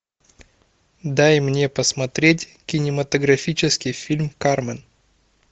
дай мне посмотреть кинематографический фильм кармен